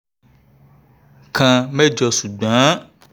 kan mẹ́jọ ṣùgbọ́n